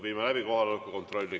Viime läbi kohaloleku kontrolli.